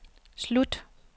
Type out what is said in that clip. slut